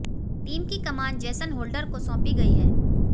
team की कमान Jason Holder को साैंपी गई है